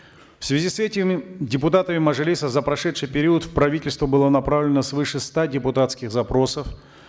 в связи с этим депутатами мажилиса за прошедший период в правительство было направлено свыше ста депутатских запросов